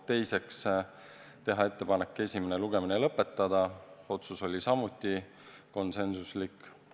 Teiseks, teha ettepanek esimene lugemine lõpetada, see otsus oli samuti konsensuslik.